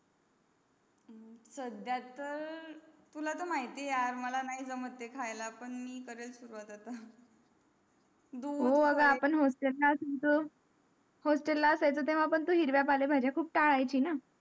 साध्याच तुला तर माहिती यार मला नाही जमत ते खायला पण मी करेल सुरुवात आता हो अग आपण hostel ला असायचो hostel ला असायचो तेव्हा पण तू हिरव्या पाळ्या भाज्या खूप टाळायची ना